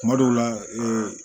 Kuma dɔw la ee